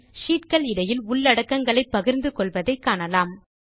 இப்போது ஷீட் கள் இடையில் உள்ளடக்கங்களை பகிர்ந்து கொள்வதை காணலாம்